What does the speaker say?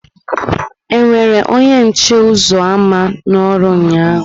E were onye nche ụzọ ámá n'ọrụ ụnyaahụ?